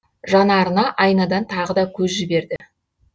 жанарына айнадан тағы да көз жіберді